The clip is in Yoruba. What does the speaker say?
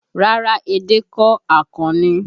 Rárá, edé kọ́, akàn ni